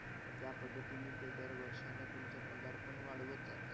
म त्या पद्धतिणी ते दर वर्षाला पगार पण वाढवत जातात.